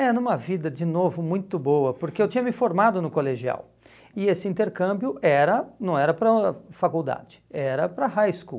É, numa vida, de novo, muito boa, porque eu tinha me formado no colegial e esse intercâmbio era não era para faculdade, era para high school.